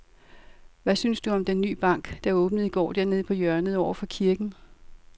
Hvad synes du om den nye bank, der åbnede i går dernede på hjørnet over for kirken?